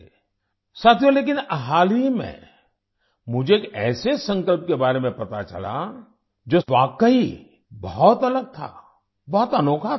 साथियो लेकिन हाल ही में मुझे ऐसे संकल्प के बारे में पता चला जो वाकई बहुत अलग था बहुत अनोखा था